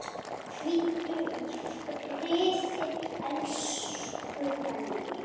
Hvíldu í friði, elsku Benni.